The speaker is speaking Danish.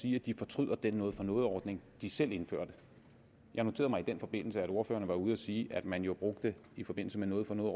sige at de fortryder den noget for noget ordning de selv indførte jeg noterede mig i den forbindelse at ordførerne var ude at sige at man jo i forbindelse med noget for noget